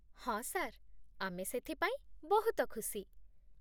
ହଁ ସାର୍, ଆମେ ସେଥିପାଇଁ ବହୁତ ଖୁସି